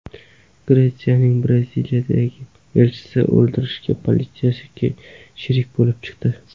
Gretsiyaning Braziliyadagi elchisini o‘ldirishga politsiyachi sherik bo‘lib chiqdi.